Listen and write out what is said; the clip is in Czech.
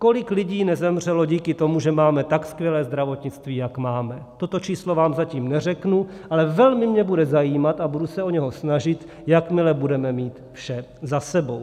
Kolik lidí nezemřelo díky tomu, že máme tak skvělé zdravotnictví, jak máme, toto číslo vám zatím neřeknu, ale velmi mě bude zajímat a budu se o něj snažit, jakmile budeme mít vše za sebou.